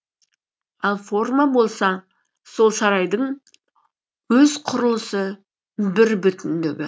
ал форма болса сол сарайдың өз құрылысы бірбүтіндігі